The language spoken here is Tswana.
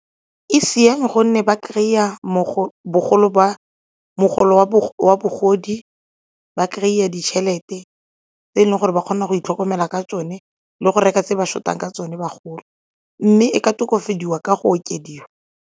E siame gonne ba kry-a mogolo wa bagodi, ba kry-a ditšhelete tse e leng gore ba kgona go itlhokomela ka tsone le go reka tse ba short-ang ka tsone bagolo mme e ka tokafadiwa ka go okediwa.